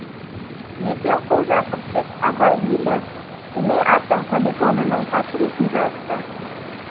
есенқұл жақыпбек абай елі семей атом полигонының қасіретін жазды